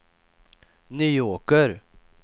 Nyåker